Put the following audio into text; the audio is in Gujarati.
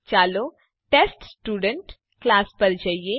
ચાલો ટેસ્ટસ્ટુડન્ટ ક્લાસ પર જઈએ